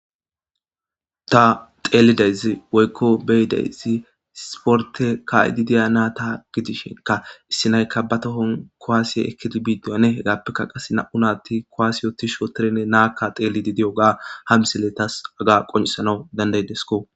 ta xeelidaysi woykko beyidaysi siporte ka7ididiya naa ta gidishenka issi naykka ba tohon koaasiye ekkidi bidiyane hegaappekka qase na7u naatti kowaasiyotishooterenne naakka xeeli di diyoga hamsele tas aga qonisanaw dandaydesko